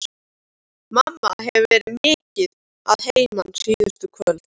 Mamma hefur verið mikið að heiman síðustu kvöld.